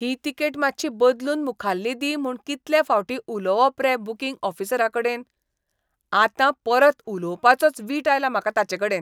ही ticket मात्शी बदलून मुखाल्ली दी म्हूण कितले फावटीं उलोवप रे बुकिंग ऑफिसराकडेन? आतां परत उलोवपाचोच वीट आयला म्हाका ताचेकडेन.